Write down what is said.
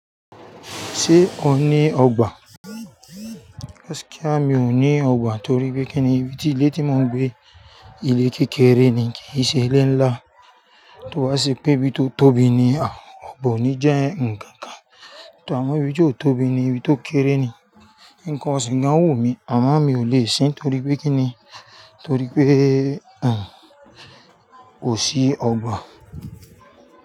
Ṣé o ní ọgbà? Gaskia, mi ò ní ọgbà torí pé kinni ibi tí ilé tí mò ń gbé, ilé kékeré ni kì í ṣe ilé ńlá. Tó bá ṣe pé bí tó tóbi ni, a, ọ̀gbà ò ní jẹ́ ǹkan kan. Tor, àmọ́ ibi tí ó tóbi ni, ibi tó kéré ni ǹkan isìn gan o wumi àmì, àmọ́ mi ò lè sin nítorí pé kí ni? Torí pé, ẹn, kò sí ọgbà.